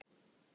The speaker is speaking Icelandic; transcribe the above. Tara